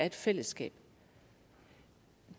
et fællesskab